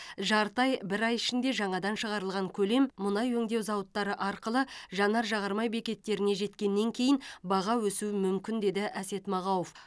жарты ай бір ай ішінде жаңадан шығарылған көлем мұнай өңдеу зауыттары арқылы жанар жағармай бекеттеріне жеткеннен кейін баға өсуі мүмкін деді әсет мағауов